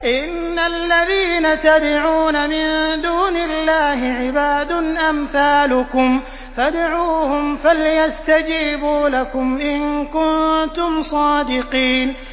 إِنَّ الَّذِينَ تَدْعُونَ مِن دُونِ اللَّهِ عِبَادٌ أَمْثَالُكُمْ ۖ فَادْعُوهُمْ فَلْيَسْتَجِيبُوا لَكُمْ إِن كُنتُمْ صَادِقِينَ